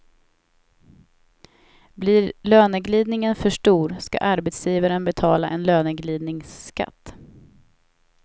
Blir löneglidningen för stor ska arbetsgivaren betala en löneglidningsskatt.